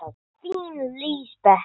Þín Lísbet Fjóla.